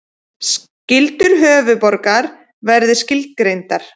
Skyldur höfuðborgar verði skilgreindar